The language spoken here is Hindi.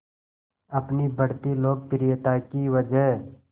अपनी बढ़ती लोकप्रियता की वजह